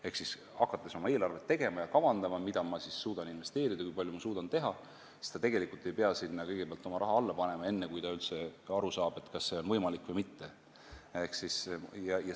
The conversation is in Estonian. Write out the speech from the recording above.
Ehk hakates kavandama eelarvet, et näha, mida ta suudab investeerida ja kui palju ta suudab teha, ei pea ta kõigepealt oma raha sinna alla panema, enne kui ta üldse aru saab, kas see on võimalik või mitte.